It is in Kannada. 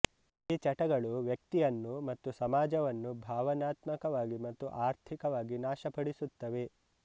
ಈ ಚಟಗಳು ವ್ಯಕ್ತಿಯನ್ನು ಮತ್ತು ಸಮಾಜವನ್ನು ಭಾವನಾತ್ಮಕವಾಗಿ ಮತ್ತು ಆರ್ಥಿಕವಾಗಿ ನಾಶಪಡಿಸುತ್ತವೆ